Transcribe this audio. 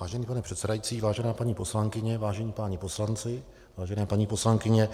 Vážený pane předsedající, vážené paní poslankyně, vážení páni poslanci, vážená paní poslankyně,